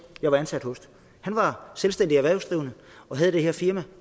jeg var ansat hos han var selvstændig erhvervsdrivende og havde det her firma